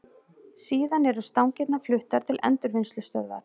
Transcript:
Síðan eru stangirnar fluttar til endurvinnslustöðvar.